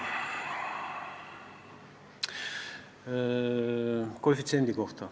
Kõigepealt koefitsiendist.